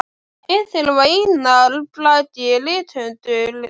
Einn þeirra var Einar Bragi rithöfundur.